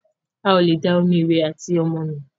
Ào lẹ dá omí ìwé àti ọmọ nù.